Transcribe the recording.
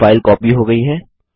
अब file copy हो गई है